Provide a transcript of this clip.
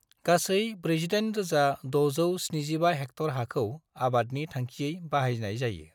गासै 48,675 हेक्टर हाखौ आबादनि थांखियै बाहायनाय जायो।